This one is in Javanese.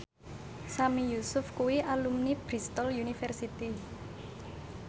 Sami Yusuf kuwi alumni Bristol university